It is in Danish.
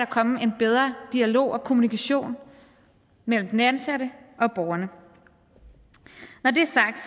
komme en bedre dialog og kommunikation mellem den ansatte og borgerne når det er sagt